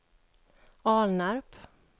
Alnarp